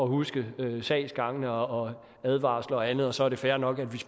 huske sagsgangene og advarsler og andet og så er det fair nok at vi